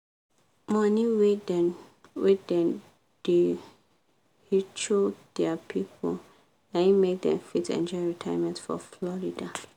money wey dem wey dem da hecho dia people naim make dem fit enjoy retirement for florida